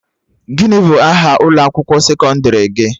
Gịnị bụ aha ụlọ akwụkwọ sekọndrị gị?